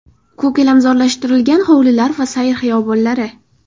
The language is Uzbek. Ko‘kalamzorlashtirilgan hovlilar va sayr xiyobonlari.